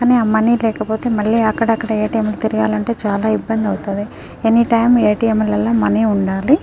కానీ ఆహ్ మనీ లేకపోతే మల్లి అక్కడక్కడ లు తెలియాలి అంటే చాల ఇబ్బంది అవ్తది ఎనీ టైం ల మనీ ఉండాలి.